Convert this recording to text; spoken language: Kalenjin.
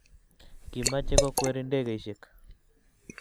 Kimache kokweri ndegeishek